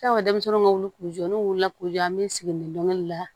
Anw ka denmisɛnninw ka wuli k'u jɔ n'u wulila k'u jɔ an bɛ sigi nengɛ la